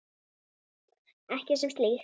Ekki sem slíkt.